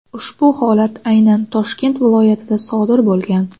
Ushbu holat aynan Toshkent viloyatida sodir bo‘lgan.